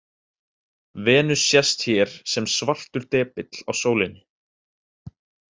Venus sést hér sem svartur depill á sólinni.